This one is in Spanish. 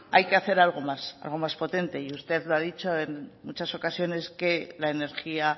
hay que hacer algo más algo más potente y usted lo ha dicho en muchas ocasiones que la energía